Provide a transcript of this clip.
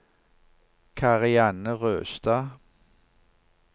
Karianne Røstad